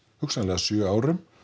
hugsanlega sex árum